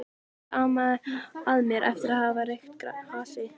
Ekkert amaði að mér eftir að hafa reykt hass.